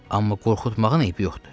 Amma qorxutmağın eybi yoxdur.